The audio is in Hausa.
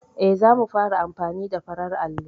E, za mu fara amfani da farar allo.